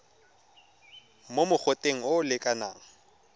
mo mogoteng o o lekanang